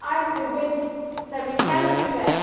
I am convinced that we can do that.